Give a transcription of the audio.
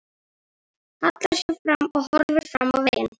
Hallar sér fram og horfir fram á veginn.